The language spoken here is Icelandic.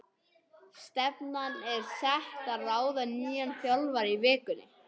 Stefnan er sett á að ráða nýjan þjálfara í vikunni.